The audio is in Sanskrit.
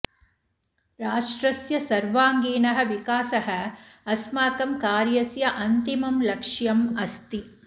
राष्ट्रस्य सर्वाङ्गीणः विकासः अस्माकं कार्यस्य अन्तिमं लक्ष्यम् अस्ति